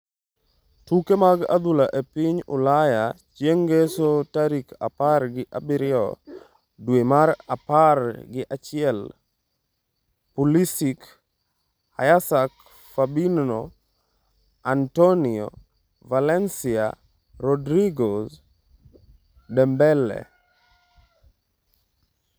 Tuke mag adhula e piny Ulaya chieng' Ngeso tarik apar gi abiriyo dwe mar apar gi achiel: Pulisic, Hysaj, Fabinho, Antonio Valencia, Rodriguez, Dembele